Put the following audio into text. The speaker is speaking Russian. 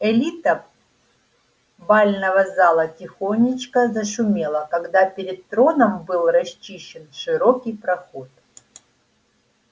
элита бального зала тихонечко зашумела когда перед троном был расчищен широкий проход